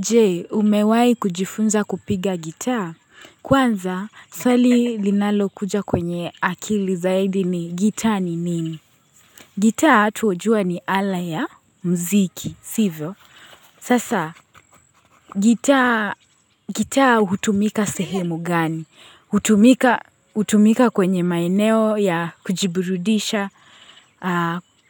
Je, umewahi kujifunza kupiga gitaa? Kwanza, swali linalokuja kwenye akili zaidi ni gitaa ni nini? Gitaa tu jua ni ala ya mziki, sivyo. Sasa, gitaa hutumika sehemu gani? Hutumika kwenye maeneo ya kujibirudisha